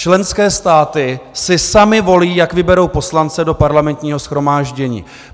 Členské státy si samy volí, jak vyberou poslance do Parlamentního shromáždění.